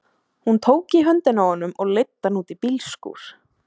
Hún tók í höndina á honum og leiddi hann út í bílskúr.